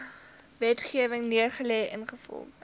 wetgewing neergelê ingevolge